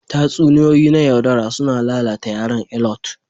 Tatsuniyoyi na yaudara suna lalata yaran Alot